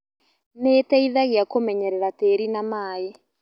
Nĩiteithagia kũmenyerera tĩri na maĩ